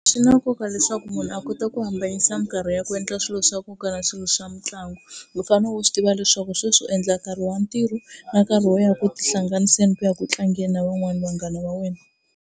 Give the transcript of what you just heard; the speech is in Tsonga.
Swi na nkoka leswaku munhu a kota ku hambanyisa mikarhi ya ku endla swilo swa nkoka na swilo swa mitlangu. U fanele u swi tiva leswaku sweswi u endla nkarhi wa ntirho na nkarhi wo ya ku tihlanganisa ni ku ya ku tlangeni na van'wana vanghana va wena.